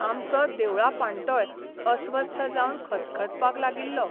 आमचो देवळा पाण्टोय अस्वस्थ जावन खतखतपाक लागिल्लो.